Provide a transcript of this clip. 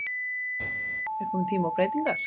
Er komin tími á breytingar?